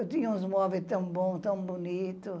Eu tinha uns móveis tão bons, tão bonitos.